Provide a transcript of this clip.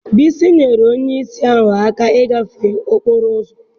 Bisi nyeere onye ìsì ahụ aka ịgafe okporo ụzọ